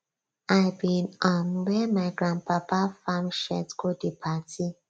i bin um wear my grandpapa farm shirt go di party